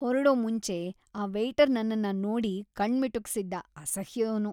ಹೊರಡೋ ಮುಂಚೆ ಆ ವೇಯ್ಟರ್ ನನ್ನನ್ನ ನೋಡಿ ಕಣ್ಣ್ ಮಿಟುಕಿಸ್ದ.‌ ಅಸಹ್ಯದೋನು..